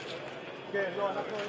yox, yox, yox.